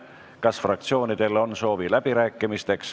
Kas fraktsioonidel on soovi läbi rääkida?